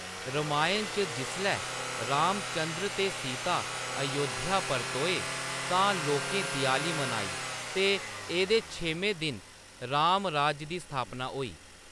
रामायण च जिसलै रामचन्द्र ते सीता अयोध्या परतोए तां लोकें देआली मनाई ते एह्‌‌‌दे छेमें दिन रामराज दी स्थापना होई।